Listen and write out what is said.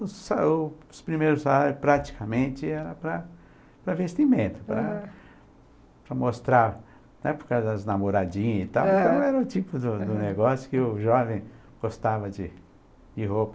Os primeiros salários praticamente eram para para vestimento, para para mostrar, né, por causa das namoradinhas e tal, porque não era o tipo de negócio que o jovem gostava de de roupa.